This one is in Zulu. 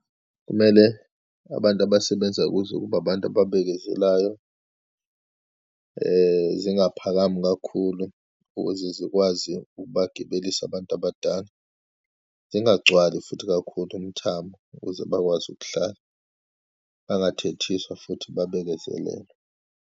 Kumele abantu abasebenza kuze kube abantu ababekezelayo, zingaphakami kakhulu ukuze zikwazi ukubagibelisa abantu abadala, zingagcwali futhi kakhulu umthamo, ukuze bakwazi ukuhlala, bangathethiswa futhi babekezelelwe.